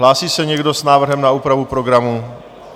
Hlásí se někdo s návrhem na úpravu programu?